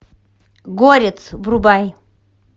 горец врубай